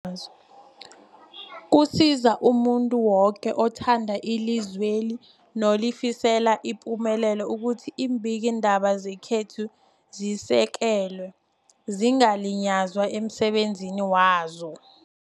azo. Kusiza umuntu woke othanda ilizweli nolifisela ipumelelo ukuthi iimbikiindaba zekhethu zisekelwe, zingaliywa emsebenzini wazo.